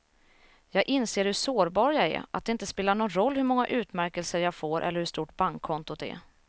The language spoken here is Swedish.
Jag inser hur sårbar jag är, att det inte spelar någon roll hur många utmärkelser jag får eller hur stort bankkontot är.